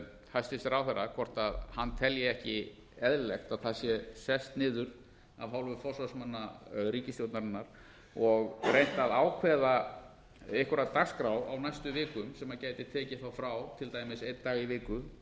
hæstvirts ráðherra hvort hann telji ekki eðlilegt að það sé sest niður af hálfu forsvarsmanna ríkisstjórnarinnar og reynt að ákveða einhverja dagskrá á næstu vikum sem maður gæti tekið frá til dæmis einn dag í viku